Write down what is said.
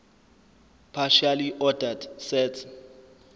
partially ordered set